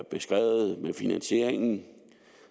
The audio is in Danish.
beskrevet med finansieringen